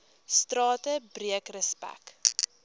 strate breek respek